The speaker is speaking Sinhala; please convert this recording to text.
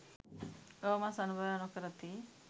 ගව මස් අනුභවය නොකරති